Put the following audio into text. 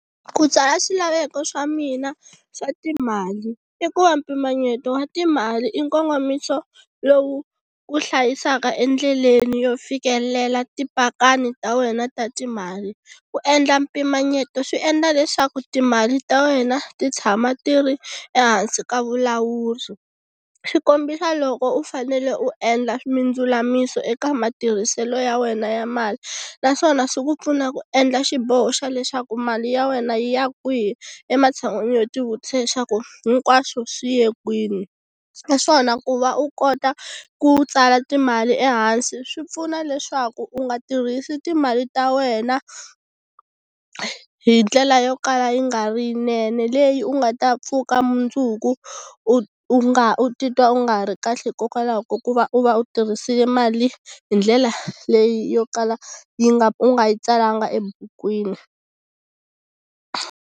Ku tswala swilaveko swa mina swa timali i ku va mpimanyeto wa timali i nkongomiso lowu wu hlayisaka endleleni yo fikelela tipakani ta wena ta timali ku endla mpimanyeto swi endla leswaku timali ta wena ti tshama ti ri ehansi ka vulawuri, swi kombisa loko u fanele u endla mindzulamiso eka matirhiselo ya wena ya mali naswona swi ku pfuna ku endla xiboho xa leswaku mali ya wena yi ya kwihi ematshan'wini yo ti vutisa leswaku hinkwaswo swi ye kwini. Naswona ku va u kota ku tsala timali ehansi swi pfuna leswaku u nga tirhisi timali ta wena hi ndlela yo kala yi nga ri yinene leyi u nga ta pfuka mundzuku u u nga u titwa u nga ri kahle hikokwalaho ka ku va u va u tirhisile mali hi ndlela leyi yo kala yi nga u nga yi tsalanga ebukwini.